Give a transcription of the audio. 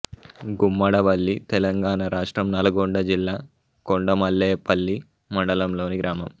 గుమ్మడవల్లి తెలంగాణ రాష్ట్రం నల్గొండ జిల్లా కొండమల్లేపల్లి మండలంలోని గ్రామం